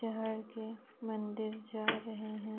चहड़ के मंदिर जा रहे है।